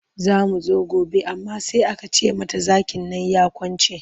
Za ta zo gobe amma sai aka ce mata zakin nan ya kwance.